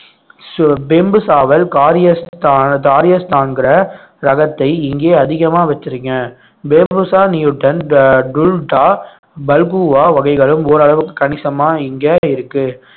சாவல் காரிய ரகத்தை இங்கே அதிகமா வச்சிருக்கேன் பல்குவா வகைகளும் ஓரளவுக்கு கணிசமா இங்க இருக்கு